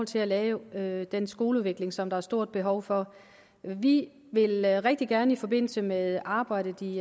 til at lave den skoleudvikling som der er et stort behov for vi vil rigtig gerne i forbindelse med arbejdet i